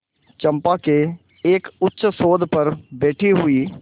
चंपा के एक उच्चसौध पर बैठी हुई